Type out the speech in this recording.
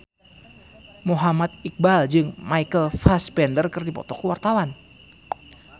Muhammad Iqbal jeung Michael Fassbender keur dipoto ku wartawan